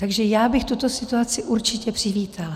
Takže já bych tuto situaci určitě přivítala.